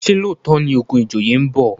ṣe looto ní ogun ìjòyè nbọ?